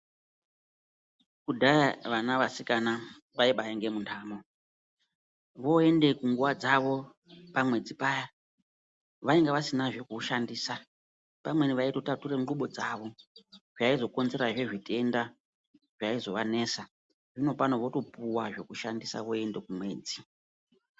Kudhayaa vana vasikana vaibaa inge mundamo, voende kunguva dzavo pamwedzi payaa vainga vasina zvekushandisaa, pamweni vaitotatura nguvo dzavo, zvaizokonzerazvee zvitendaa zvaizovanesaa, zvino pano votopuwaa zvekushandisaa voendo kumwedzi.